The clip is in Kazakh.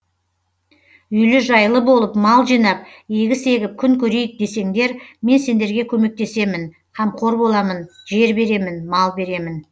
үйлі жайлы болып мал жинап егіс егіп күн көрейік десеңдер мен сендерге көмектесемін камқор боламын жер беремін мал беремін